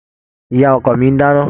Ìyá ọkọ mi ń dáná.